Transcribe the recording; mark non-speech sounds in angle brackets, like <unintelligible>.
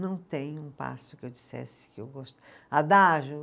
Não tem um passo que eu dissesse que eu <unintelligible>